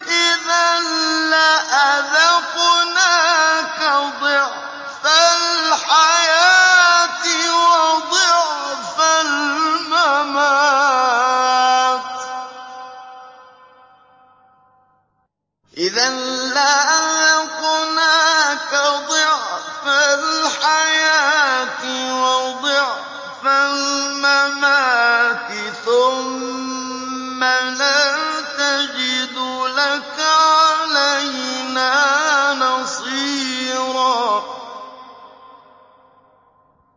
إِذًا لَّأَذَقْنَاكَ ضِعْفَ الْحَيَاةِ وَضِعْفَ الْمَمَاتِ ثُمَّ لَا تَجِدُ لَكَ عَلَيْنَا نَصِيرًا